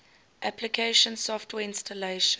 application software installation